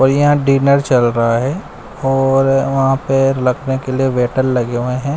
और यहां डीनर चल रहा है और वहां पे लखने के लिए वेटर लगे हुए है।